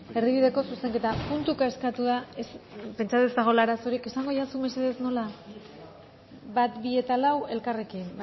erdibideko zuzenketak puntuka eskatu da pentsatzen nuen ez zegoela arazorik esango didazu mesedez nola bat bi eta lau elkarrekin